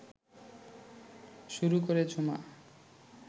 শুরু করে ঝুমা